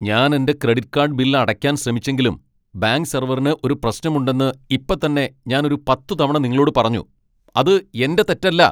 ഞാൻ എന്റെ credit card bill അടയ്ക്കാൻ ശ്രമിച്ചെങ്കിലും ബാങ്ക് സെർവറിന് ഒരു പ്രശ്നമുണ്ടെന്ന് ഇപ്പത്തന്നെ ഞാൻ ഒരു പത്ത് തവണ നിങ്ങളോട് പറഞ്ഞു. അത് എന്റെ തെറ്റല്ല!